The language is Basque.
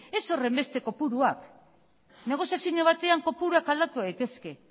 ez horrenbesteko kopuruak negoziazio batean kopuruak aldatu daitezke